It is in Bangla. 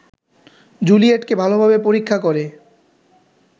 জুলিয়েটকে ভালোভাবে পরীক্ষা করে